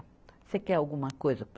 Você quer alguma coisa?